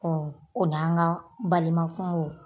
o n'an ka balima kungow.